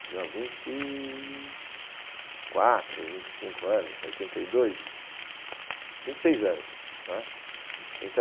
não, vinte e quatro, vinte e cinco anos, oitenta e dois, vinte e seis anos né. Então